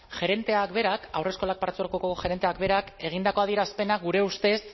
gerenteak berak haurreskolak partzuergoko gerenteak berak egindako adierazpenak gure ustez